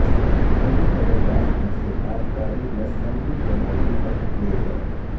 کئی تجربات میں سے تابکاری نسبندی کے موضوع پر کئے گئے